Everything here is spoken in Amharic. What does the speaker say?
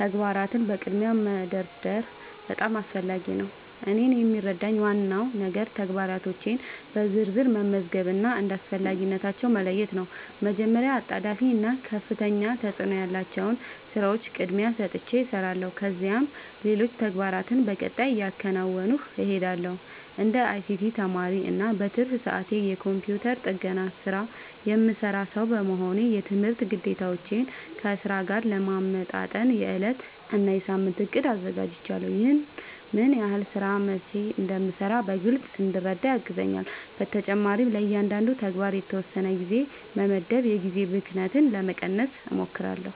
ተግባራትን በቅድሚያ መደርደር በጣም አስፈላጊ ነው። እኔን የሚረዳኝ ዋናው ነገር ተግባራቶቼን በዝርዝር መመዝገብ እና እንደ አስፈላጊነታቸው መለየት ነው። መጀመሪያ አጣዳፊ እና ከፍተኛ ተፅእኖ ያላቸውን ሥራዎች ቅድሚያ ሰጥቼ እሰራለሁ፣ ከዚያም ሌሎች ተግባራትን በቀጣይ እያከናወንሁ እሄዳለሁ። እንደ አይሲቲ ተማሪ እና በትርፍ ሰዓቴ የኮምፒውተር ጥገና ሥራ የምሠራ ሰው በመሆኔ፣ የትምህርት ግዴታዎቼን ከሥራዬ ጋር ለማመጣጠን የዕለት እና የሳምንት እቅድ አዘጋጃለሁ። ይህ ምን ሥራ መቼ እንደሚሠራ በግልጽ እንድረዳ ያግዘኛል። በተጨማሪም ለእያንዳንዱ ተግባር የተወሰነ ጊዜ በመመደብ የጊዜ ብክነትን ለመቀነስ እሞክራለሁ።